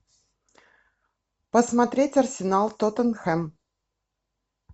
посмотреть арсенал тоттенхэм